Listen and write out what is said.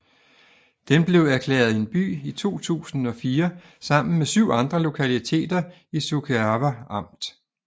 Den blev erklæret en by i 2004 sammen med syv andre lokaliteter i Suceava amt